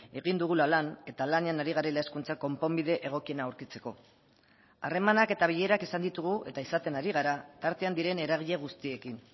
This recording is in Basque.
egin dugula lan eta lanean ari garela hezkuntza konponbide egokiena aurkitzeko harremanak eta bilerak izan ditugu eta izaten ari gara tartean diren eragile guztiekin